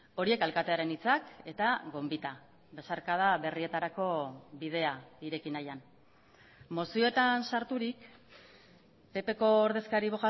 horiek alkatearen hitzak eta gonbita besarkada berrietarako bidea ireki nahian mozioetan sarturik ppko ordezkari